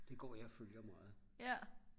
det går jeg og følger meget